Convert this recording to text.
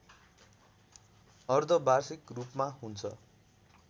अर्धवार्षिक रूपमा हुन्छ